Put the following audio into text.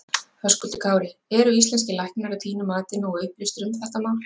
Höskuldur Kári: Eru íslenskir læknar að þínu mati nógu upplýstir um þetta mál?